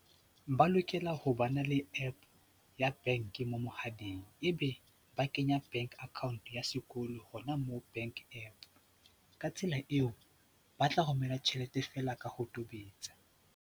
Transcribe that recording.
Ba lokela ho ba na le app ya bank mo mohaleng, ebe ba kenya bank account ya sekolo hona moo bank app ka tsela eo, ba tla romela tjhelete feela ka ho tobetsa.